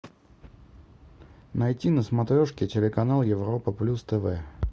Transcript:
найти на смотрешке телеканал европа плюс тв